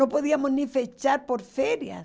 Não podíamos nem fechar por férias.